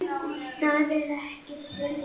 ÞAÐ ER EKKI TIL!!!